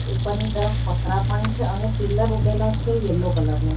ઉપરની તરફ પતરા પણ છે અને પિલર ઉભેલા છે યેલો કલર નો.